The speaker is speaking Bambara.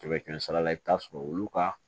Kɛmɛ kɛmɛ sara la i bɛ t'a sɔrɔ olu ka